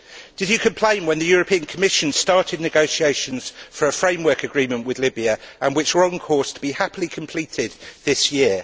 Did you complain when the European Commission started negotiations for a framework agreement with Libya and which were on course to be happily completed this year?